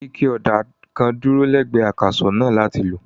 Ike ọ̀dà kan dúró lẹ́gbẹ̀ẹ́ akàsọ̀ náà láti lò.